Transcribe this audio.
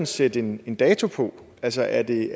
sætte en en dato på altså er det